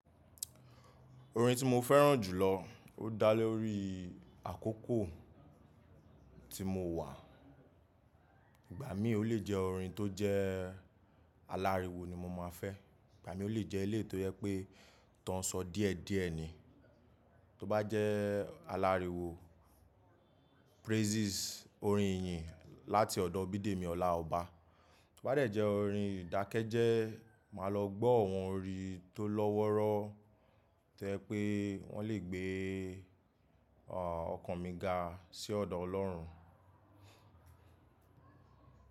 Orin tí mo fẹ́ràn jùlọ ó dálé orí àkókò tí mo wà. Ìgbà mí ò le jẹ́ orin tó jẹ́ aláriwo ni mo máa fẹ́, ìgbà mí ò lè jẹ́ eléyìí tò jẹ pé tán sọ díẹ̀díẹ̀ ni. Tó bá jẹ́ aláriwo, praises, orin ìyìn láti ọ̀dọ̀ Bidemi ọlá ọba. Tó bá jẹ́ orin ìdákẹ́jẹ́, màá lọ gbọ́ àwọn orin tó lọ́wọ́rọ́ to jẹ́ pé wọ́n le gbé ọkàn mi ga sí ọ̀dọ̀ Ọlọ́run.